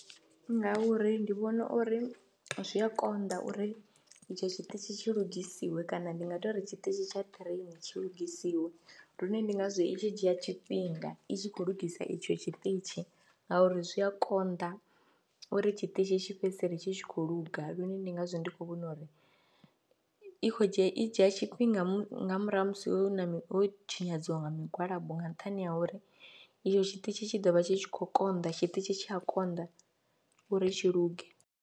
Ngauri ndi vhona uri zwi a konḓa uri etsho tshiṱitzhi tshi lugisiwe kana ndi nga tou ri tshiṱitshi tsha ṱireini tshi lugisiwe lune ndi ngazwo i tshi dzhia tshifhinga i tshi khou lungisa itsho tshiṱitshi ngauri zwi a konḓa uri tshiṱitzhi tshi fhedzisele tshi tshi khou luga lune ndi ngazwo ndi khou vhona uri i khou dzhia, i dzhia tshifhinga nga murahu ha musi hu na ho tshinyadziwa nga migwalabo nga nṱhani ha uri iyo tshiṱitshi tshi ḓo vha tshi khou konḓa, tshiṱitshi tsha a konḓa uri tshi luge.